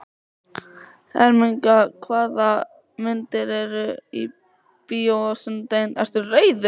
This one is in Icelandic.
Ermenga, hvaða myndir eru í bíó á sunnudaginn?